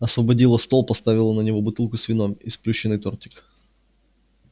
освободила стол поставила на него бутылку с вином и сплющенный тортик